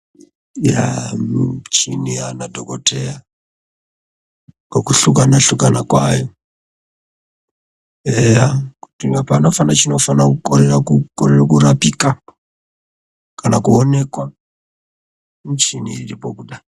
Muchini yanadhokodheya kokusungana sungana kwayo peya kuti panofane chinofane kurapika kana kuonekwa muchini wechidhokodha